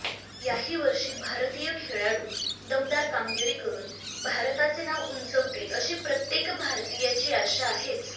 याही वर्षी भारतीय खेळाडू दमदार कामगिरी करून भारताचे नाव उंचवतील अशी प्रत्येक भारतीयाची आशा आहेच